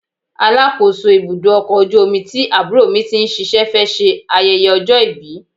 Alákòóso ibùdó ọkọ̀ ojú omi tí àbúrò mi ti ń ṣíṣe fẹ́ ṣe ayẹyẹ ọjọ́ ìbí.